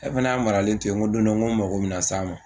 E fana y'a maralen to yen n ko don dɔ n ko n mago bɛna s'a ma